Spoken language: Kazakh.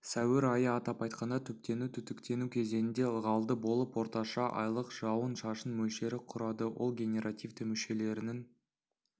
сәуір айы атап айтқанда түптену-түтіктену кезеңінде ылғалды болып орташа айлық жауын-шашын мөлшері құрады ол генеративті мүшелерінің